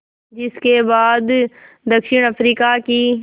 जिस के बाद दक्षिण अफ्रीका की